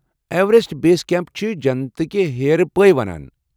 Everest base camps چھِ جنتٕكہِ ہیرٕ پٲے ونان۔